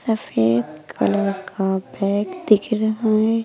सफेद कलर का बैग दिख रहा है।